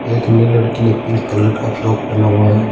एक ने लड़की ने पिंक कलर का फ्रॉक पेहना हुआ है।